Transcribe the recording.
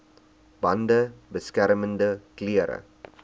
bande beskermende klere